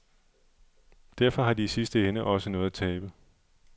Derfor har de i sidste ende også noget at tabe.